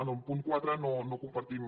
en el punt quatre no compartim